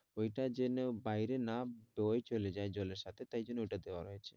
ওইটা যেনো বাইরে না বের হয়ে চলে যায় জলের সাথে তাই জন্য ওইটা দেওয়া হয়েছে।